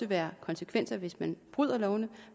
være konsekvenser hvis man bryder lovene